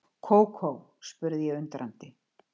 Kókó? spurði ég undrandi.